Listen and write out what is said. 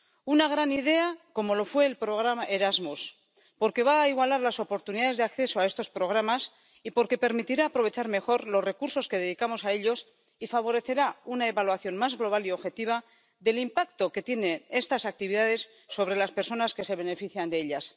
Una gran idea, como lo fue el programa Erasmus, porque va a igualar las oportunidades de acceso a estos programas y porque permitirá aprovechar mejor los recursos que dedicamos a ellos y favorecerá una evaluación más global y objetiva del impacto que tienen estas actividades sobre las personas que se benefician de ellas.